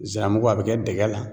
Ziramugu, a bɛ kɛ dɛgɛ la